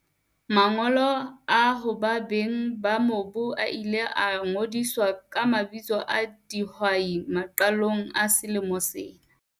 Mangolo a hoba beng ba mobu a ile a ngodiswa ka mabitso a dihwai maqalong a selemo sena.